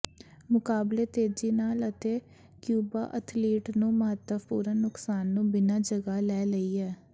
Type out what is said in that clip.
ਮੁਕਾਬਲੇ ਤੇਜ਼ੀ ਨਾਲ ਅਤੇ ਕਿਊਬਾ ਅਥਲੀਟ ਨੂੰ ਮਹੱਤਵਪੂਰਨ ਨੁਕਸਾਨ ਨੂੰ ਬਿਨਾ ਜਗ੍ਹਾ ਲੈ ਲਈ ਹੈ